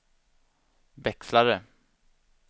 växlare